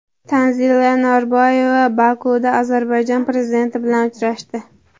Tanzila Norboyeva Bokuda Ozarbayjon prezidenti bilan uchrashdi.